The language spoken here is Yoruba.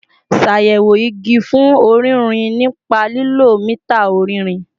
Ṣayẹwo igi fun ọririn nipa lilo mita ọrinrin